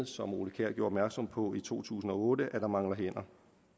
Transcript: som ole kjær gjorde opmærksom på i to tusind og otte at der mangler hænder